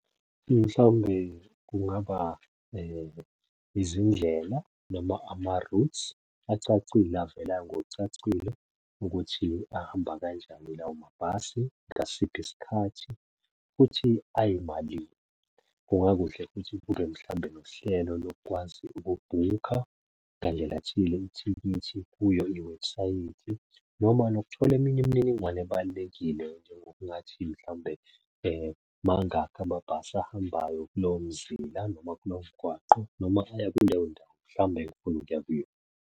Mhlawumbe kungaba izindlela noma ama-routes acacile avela ngokucacile ukuthi ahamba kanjani lawo mabhasi, ngasiphi isikhathi, futhi ayimalini. Kungakuhle futhi kube mhlawumbe nohlelo lokukwazi ukubhukha ngandlela thile ithikithi kuyo iwebhusayithi noma nokuthola eminye imininingwane ebalulekile njengokungathi mhlawumbe mangakhi amabhasi ahambayo kulowo mzila noma kulowo mgwaqo noma aya kuleyo ndawo mhlawumbe engiya kuyona.